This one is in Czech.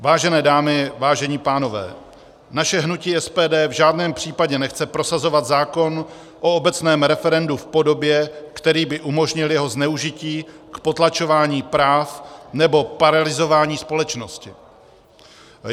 Vážené dámy, vážení pánové, naše hnutí SPD v žádném případě nechce prosazovat zákon o obecném referendu v podobě, která by umožnila jeho zneužití k potlačování práv nebo paralyzování společnosti.